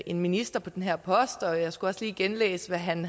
en minister på den her post og jeg skulle også lige genlæse hvad han